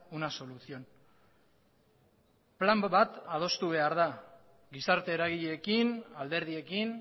una solución plan bat adostu behar da gizarte eragileekin alderdiekin